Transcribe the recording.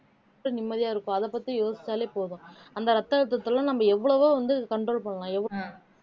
இப்ப நிம்மதியா இருக்கோம் அதை பத்தி யோசிச்சாலே போதும் அந்த ரத்த அழுத்தத்தை எல்லாம் நம்ம எவ்வளவோ வந்து control பண்ணலாம்